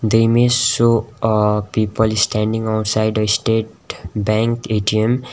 the image show a people standing outside a state bank A_T_M.